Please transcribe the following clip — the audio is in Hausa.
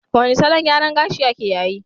Wane salon gyaran gashiake yayi?